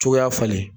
Cogoya falen